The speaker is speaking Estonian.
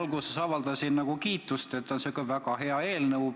Alguses ma avaldasin kiitust, et on säärane väga hea eelnõu.